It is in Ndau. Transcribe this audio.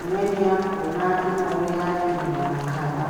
imweni yakona inouya iri mumakaba.